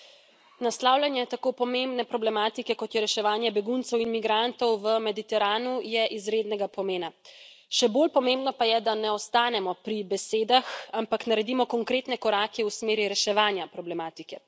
Gospa predsednica, naslavljanje tako pomembne problematike, kot je reševanje beguncev in migrantov v Mediteranu, je izrednega pomena. Še bolj pomembno pa je, da ne ostanemo pri besedah, ampak naredimo konkretne korake v smeri reševanja problematike.